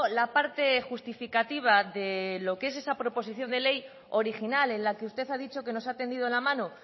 la parte justificativa de lo que es esa proposición de ley original en la que usted ha dicho que nos ha tendido la mano